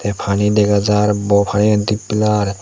te pani dega jar bor panigan dippilar.